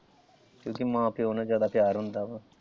ਕਿਉਂਕਿ ਮਾਂ ਪਿਓ ਨਾਲ ਜਿਆਦਾ ਪਿਆਰ ਹੁੰਦਾ ਵਾ।